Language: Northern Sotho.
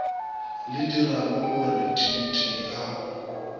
le diragogore t t a